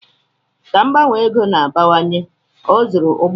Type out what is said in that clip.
Ka mgbanwe ego na-abawanye, ọ zụrụ ụgbọala.